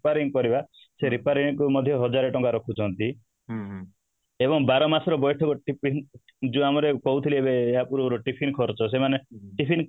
repairing କରିବା ସେ repairing ରେ ମଧ୍ୟ ହଜାର ଟଙ୍କା ରଖୁଛନ୍ତି ଏବଂ ବାର ମାସ ରେ ଯୋଉ ଆମର କହୁଥିଲି ଆଗରୁ ଏବେ tiffin ଖର୍ଚ୍ଚ ସେମାନେ tiffin